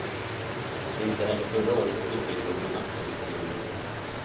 Inte heller förra året utgick någon aktieutdelning.